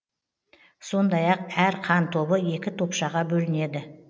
сондай ақ әр қан тобы екі топшаға бөлінеді